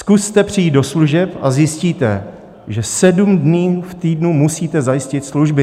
Zkuste přijít do služeb a zjistíte, že sedm dní v týdnu musíte zajistit služby.